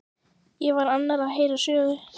Ég var annars að heyra sögu.